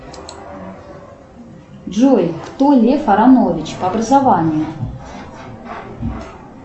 джой кто лев аронович по образованию